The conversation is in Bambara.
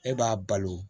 E b'a balo